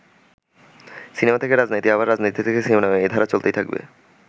“Cinema থেকে রাজনীতি আবার রাজনীতি থেকে সিনেমা - এই ধারা চলতেই থাকবে।